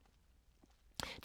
DR1